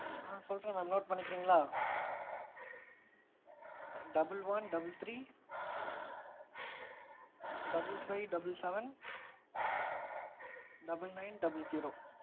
ஆ சொல்றேன் mam note பண்ணிக்கிரீன்களா? double one double three double five double seven double nine double zero